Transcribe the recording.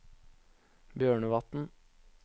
Bjørnevatn